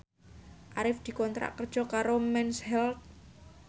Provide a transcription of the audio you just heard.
Arif dikontrak kerja karo Mens Health